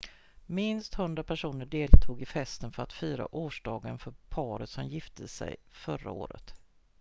minst 100 personer deltog i festen för att fira årsdagen för paret som gifte sig förra året